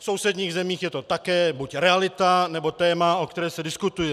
V sousedních zemích je to také buď realita, nebo téma, o kterém se diskutuje.